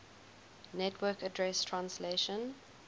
network address translation